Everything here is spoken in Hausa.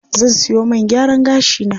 Zan siyo man gyaran gashi na.